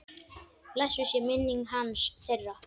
Blessuð sé minning hans, þeirra.